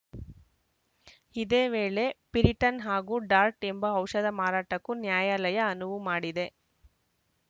ಇದೇ ವೇಳೆ ಪಿರಿಟನ್‌ ಹಾಗೂ ಡಾರ್ಟ್‌ ಎಂಬ ಔಷಧ ಮಾರಾಟಕ್ಕೂ ನ್ಯಾಯಾಲಯ ಅನುವು ಮಾಡಿದೆ